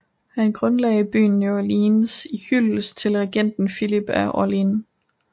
Han grundlagde byen New Orleans i hyldest til regenten Filip af Orléans